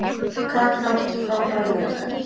Kaka átti frábæran leik.